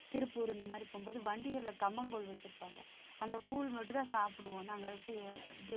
திருப்பூர் இந்த மாதிரி போகும்போது வண்டிகள்ல கம்மங்கூழ் வச்சிருப்பாங்க அந்த கூழ் மட்டும்தான் சாப்பிடுவோம் நாங்க